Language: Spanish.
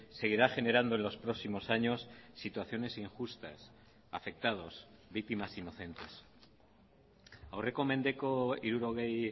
seguirá generando en los próximos años situaciones injustas afectados víctimas inocentes aurreko mendeko hirurogei